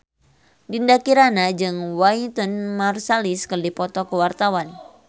Dinda Kirana jeung Wynton Marsalis keur dipoto ku wartawan